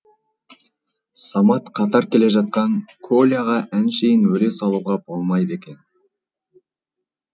самат қатар келе жатқан коляға әншейін өле салуға болмайды екен